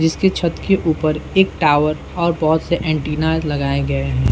जिसकी छत के ऊपर एक टॉवर और बोहोत से एंटीना लगाए गए हैं।